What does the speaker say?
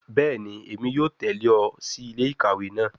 Bẹẹni, Emi yoo tẹle ọ si ile-ikawe naa